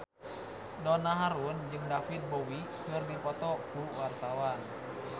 Donna Harun jeung David Bowie keur dipoto ku wartawan